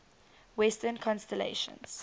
western constellations